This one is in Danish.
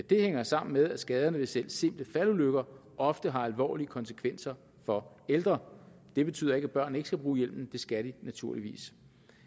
det hænger sammen med at skaderne ved selv simple faldulykker ofte har alvorlige konsekvenser for ældre det betyder ikke at børn ikke skal bruge hjelmen det skal de naturligvis